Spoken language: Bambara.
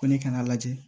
Ko ne kana lajɛ